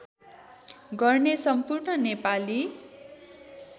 गर्ने सम्पूर्ण नेपाली